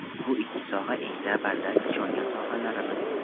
Bu ikki soha eng zabardast, ishongan sohalarimiz.